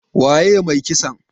Waye mai kisan?